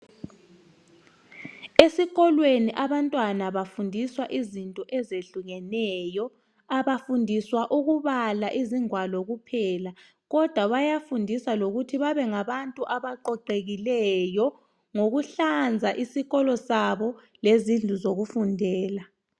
Esikolweni abantwana bafundiswa izinto ezehlukeneyo abafundiswa ukubala izingwalo kuphela kodwa bayafundiswa lokuthi babe ngabantu abaqoqekileyo ngokuhlanza isikolo sabo lezindlu zokufundela.